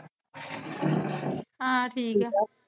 ਹਾ ਠੀਕ ਆ।